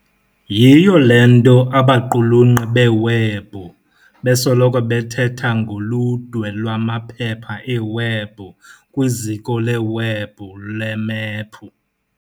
Yiyo le nto abaqhulunkqi beewebhu besoloko bethetha ngoludwe lwamaphepha eewebhu kwiziko leewebhu lemephu.